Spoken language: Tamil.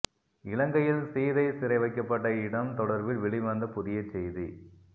இலங்கையில் சீதை சிறை வைக்கப்பட்ட இடம் தொடர்பில் வெளிவந்த புதிய செய்தி